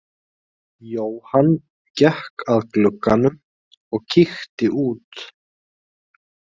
Jóhann gekk að glugganum og kíkti út.